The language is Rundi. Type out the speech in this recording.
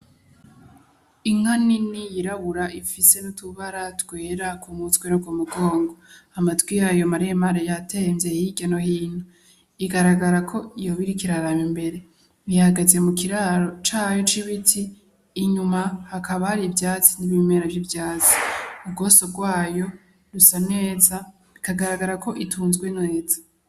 Inka nini yirabura ifise nutubara twera kumutwe no kumugongo amatwi yayo maremare yatemvye hirya no hino ibonekako iriko iraraba imbere ihagaze mu ndaro yayo y'ibiti inyuma hakaba hari ivyatsi mu maso hayo hasa neza itunzwe neza.